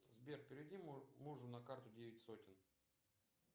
сбер переведи мужу на карту девять сотен